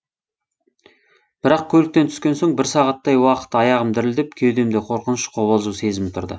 бірақ көліктен түскеннен соң бір сағаттай уақыт аяғым дірілдеп кеудемде қорқыныш қобалжу сезімі тұрды